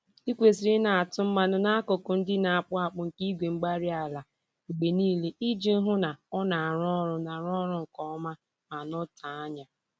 Ị kwesịrị ịna-atụ mmanụ n'akụkụ ndị na-akpụ akpụ nke igwe-mgbárí-ala mgbe niile iji hụ na ọ na-arụ ọrụ na-arụ ọrụ nke ọma ma nọtee ányá